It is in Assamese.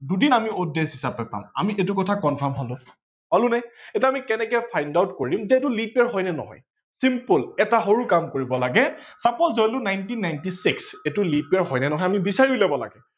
দুদিন আমি odd days হিচাপে পাম। আমি সেইটো কথা confirm হলো, হলো নে। এতিয়া আমি কেনেকে find out কৰিম যে এইটো leap year হয় নে নহয় simple এটা সৰু কাম কৰিব লাগে suppose ধৰিলো nineteen ninety six এইটো leap year হয় নে নহয় আমি বিচাৰি উলিয়াব লাগে।